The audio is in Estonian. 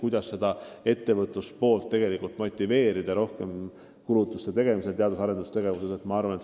Siis tuleks arutada, kuidas ettevõtjaid motiveerida rohkem kulutama teadus- ja arendustegevusele.